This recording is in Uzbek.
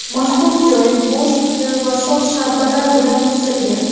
Mazkur joy bo‘sh quti va shox-shabbalar bilan to‘silgan.